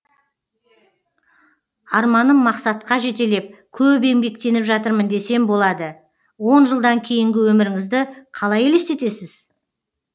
арманым мақсатқа жетелеп көп еңбектеніп жатырмын десем болады он жылдан кейінгі өміріңізді қалай елестетесіз